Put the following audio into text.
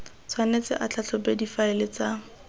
tshwanetse a tlhatlhobe difaele tsa